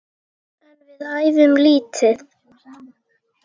En við æfum lítið.